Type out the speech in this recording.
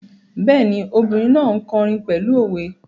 Bẹ́ẹ̀ni, obìrin náà n kọrin pẹ̀lú òwe